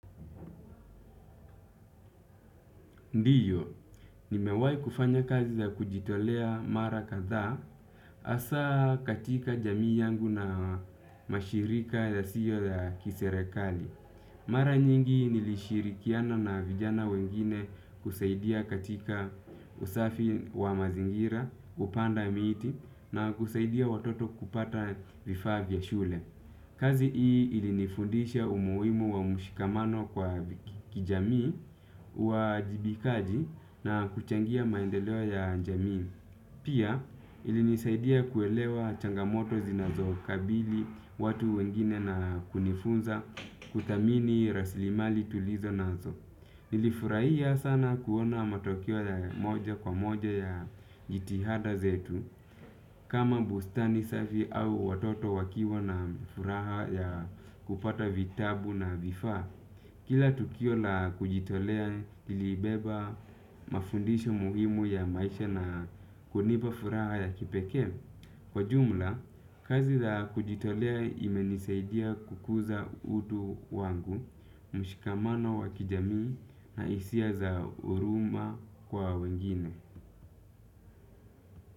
Ndiyo, nimewahi kufanya kazi ya kujitolea mara kadhaa hasaa katika jamii yangu na mashirika ya CEO ya kiserekali. Mara nyingi nilishirikiana na vijana wengine kusaidia katika usafi wa mazingira, kupanda miti na kusaidia watoto kupata vifaa vya shule. Kazi hii ilinifundisha umuhimu wa mshikamano kwa kijamii uwajibikaji na kuchangia maendeleo ya jamii. Pia ilinisaidia kuelewa changamoto zinazokabili watu wengine na kunifunza kuthamini raslimali tulizo nazo. Nilifurahia sana kuona matokeo ya moja kwa moja ya jitihada zetu. Kama bustani safi au watoto wakiwa na furaha ya kupata vitabu na vifaa. Kila tukio la kujitolea lilibeba mafundisho muhimu ya maisha na kunipa furaha ya kipekee. Kwa jumla, kazi la kujitolea imenisaidia kukuza utu wangu. Mshikamana wa kijamii na hisia za huruma kwa wengine.